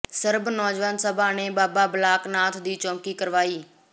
ਸਰਬ ਨੌਜਵਾਨ ਸਭਾ ਨੇ ਬਾਬਾ ਬਾਲਕ ਨਾਥ ਦੀ ਚੌਾਕੀ ਕਰਵਾਈ